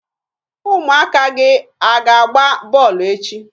Ụmụaka gị a ga-agba bọọlụ echi?